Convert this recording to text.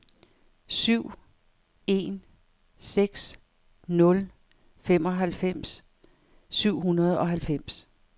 syv en seks nul femoghalvfems syv hundrede og halvfems